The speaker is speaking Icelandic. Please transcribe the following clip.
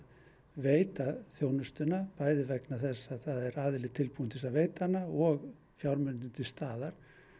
veita þjónustuna bæði vegna þess að það er aðili tilbúinn til þess að veita hana og fjármunir eru til staðar